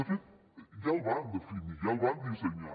de fet ja el van definir i ja el van dissenyar